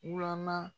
Wula